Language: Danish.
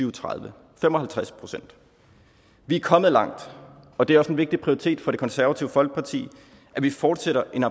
og tredive fem og halvtreds procent vi er kommet langt og det er også en vigtig prioritet for det konservative folkeparti at vi fortsætter en